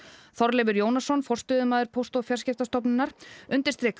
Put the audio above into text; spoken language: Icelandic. Þorleifur Jónasson forstöðumaður Póst og fjarskiptastofnunar undirstrikar